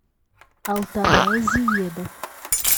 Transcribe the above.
алтанай зиедов